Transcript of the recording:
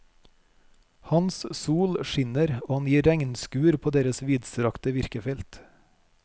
Hans sol skinner og han gir regnskur på deres vidstrakte virkefelt.